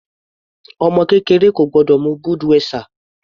Ọmọ kékeré kò gbọ́dọ̀ mu Budweiser.